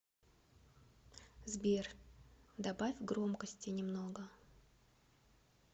сбер добавь громкости немного